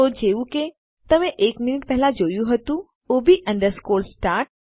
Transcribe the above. તો જેવું કે તમે એક મિનીટ પહેલા જોયું હતું ઓબ અંડરસ્કોર સ્ટાર્ટ